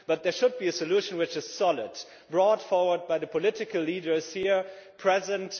There should be a solution which is solid, brought forward by the political leaders here present.